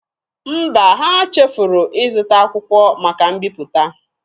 Mba, ha chefuru ịzụta akwụkwọ maka mbiputa.